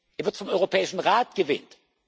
Er wird vom Europäischen Rat gewählt.